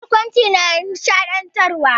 Barkwanci na nishaɗantarwa.